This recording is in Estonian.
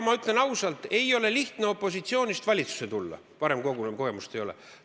Ma ütlen ausalt, et ei ole lihtne opositsioonist valitsusse tulla, kui varem seda kogemust ei ole olnud.